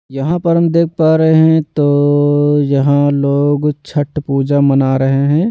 यहां पर हम देख पा रहे हैं तो यहां लोग छठ पूजा मना रहे हैं।